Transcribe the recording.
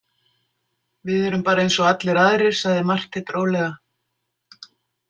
Við erum bara eins og allir aðrir, sagði Marteinn rólega.